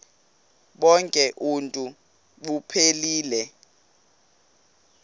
bonk uuntu buphelele